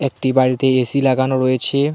একটি বাড়িতে এ_সি লাগানো রয়েছে।